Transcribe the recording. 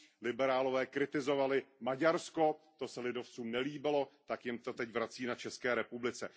Liberálové kritizovali Maďarsko, to se lidovcům nelíbilo, tak jim to teď vrací na České republice.